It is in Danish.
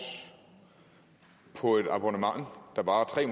på et abonnement der varer tre